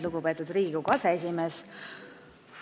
Lugupeetud Riigikogu aseesimees!